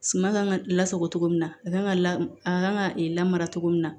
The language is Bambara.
Suma kan ka lasago cogo min na a kan ka la a kan ka lamara cogo min na